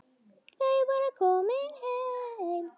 Þau voru komin heim.